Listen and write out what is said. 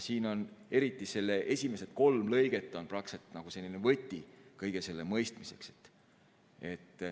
Siin on eriti esimesed kolm lõiget nagu võti kõige mõistmiseks.